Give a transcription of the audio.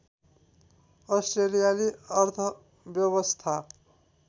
अस्ट्रेलियाली अर्थव्यवस्था